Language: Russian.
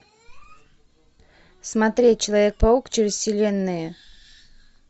смотреть человек паук через вселенные